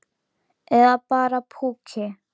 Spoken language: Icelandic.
Eða bara púki.